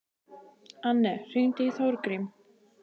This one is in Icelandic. Anne, hringdu í Þórgrím.